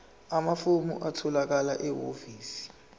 amafomu atholakala ehhovisi